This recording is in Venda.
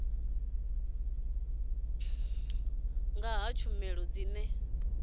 ya nga ha tshumelo dzine